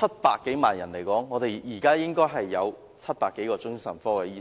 多萬人口計算，我們應該有700多位精神科醫生。